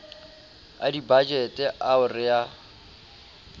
a dibajete ao re a